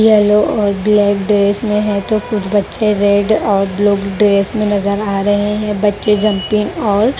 yellow और black dress में है तो कुछ बच्चे रेड और ब्ल्यू ड्रेस में नजर आ रहे हैं बच्चे जंपिंग और--